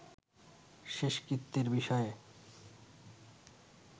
শেষকৃত্যের বিষয়ে